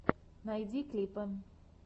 найди клипы